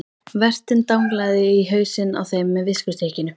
Vertinn danglaði í hausinn á þeim með viskustykkinu.